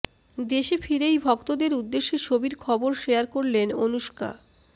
দেশে ফিরেই ভক্তদের উদ্দেশ্যে ছবির খবর শেয়ার করলেন অনুষ্কা